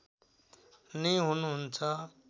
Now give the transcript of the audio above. नै हुनुहुन्छ